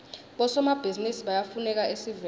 bosomabhizinisi bayafuneka esiveni